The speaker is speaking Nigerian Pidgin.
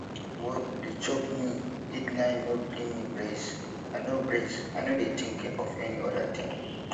work dey choke me deadline no gree me breath i no breath i no dey think of any oda thing